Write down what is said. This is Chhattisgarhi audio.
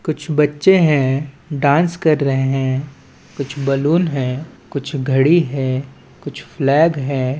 कुछ बच्चे हैं डांस कर रहे हैं कुछ बलून है कुछ घड़ी है कुछ फ्लैग है।